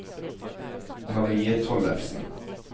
Marie Tollefsen